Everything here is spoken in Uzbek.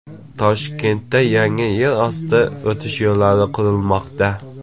Toshkentda yangi yer osti o‘tish yo‘li qurilmoqda.